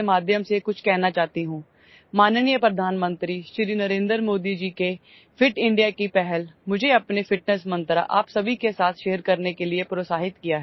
Honorable Prime Minister Shri Narendra Modi Ji's Fit India initiative has encouraged me to share my fitness mantra with all of you